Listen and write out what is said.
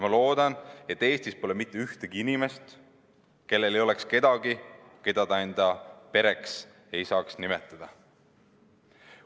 Ma loodan, et Eestis pole mitte ühtegi inimest, kellel ei oleks kedagi, keda ta enda pereks saaks nimetada.